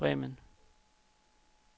Bremen